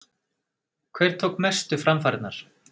Hver tók mestu framfarirnar?